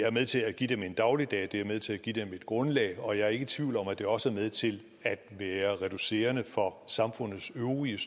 er med til at give dem en dagligdag det er med til at give dem et grundlag og jeg er ikke tvivl om at det også er med til at være reducerende for samfundets øvrige